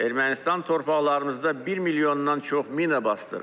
Ermənistan torpaqlarımızda 1 milyondan çox mina basdırıb.